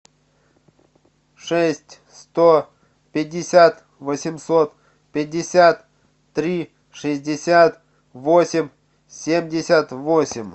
шесть сто пятьдесят восемьсот пятьдесят три шестьдесят восемь семьдесят восемь